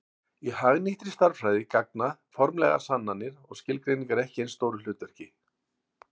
Í hagnýttri stærðfræði gegna formlegar sannanir og skilgreiningar ekki eins stóru hlutverki.